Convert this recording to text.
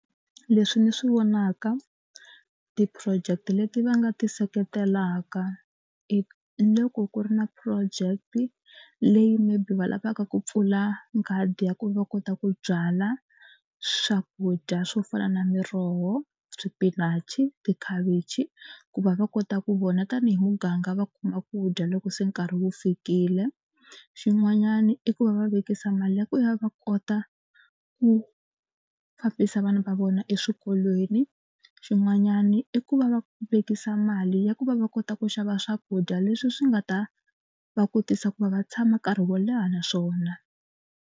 Leswi ndzi swi vonaka ti-project leti va nga ti seketelaka i loko ku ri na project leyi maybe va lavaka ku pfula nghadi ya ku va kota ku byala swakudya swo fana na miroho, swipinachi, tikhavichi ku va va kota ku vona tanihi muganga va kuma ku dya loko se nkarhi wu fikile. Xin'wanyana i ku va va vekisa mali ya ku ya va kota ku ku fambisa vana va vona eswikolweni. Xin'wanyana i ku va va vekisa mali ya ku va va kota ku xava swakudya leswi swi nga ta va kotisa ku va va tshama nkarhi wo leha na swona.